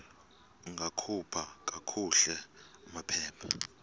ungakhupha kakuhle amaphepha